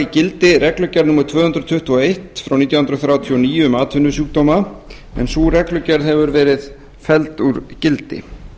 gildi reglugerð númer tvö hundruð tuttugu og eitt frá nítján hundruð þrjátíu og níu um atvinnusjúkdóma en sú reglugerð hefur verið felld úr gildi ég